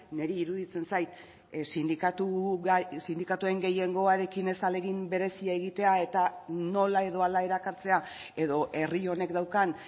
niri iruditzen zait sindikatuen gehiengoarekin ez ahalegin berezia egitea eta nola edo hala erakartzea edo herri honek daukan